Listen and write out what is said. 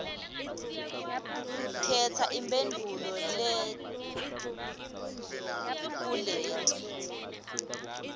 khetsa imphendvulo kuleti